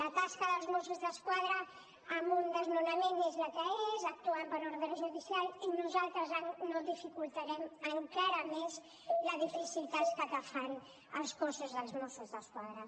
la tasca dels mossos d’esquadra en un desnonament és la que és actuen per ordre judicial i nosaltres no dificultarem encara més la difícil tasca que fa el cos dels mossos d’esquadra